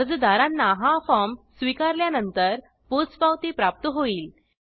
अर्जदारांना हा फॉर्म स्वीकारल्यानंतर पोचपावती प्राप्त होईल